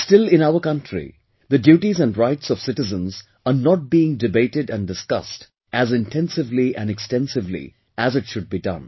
But still in our country, the duties and rights of citizens are not being debated and discussed as intensively and extensively as it should be done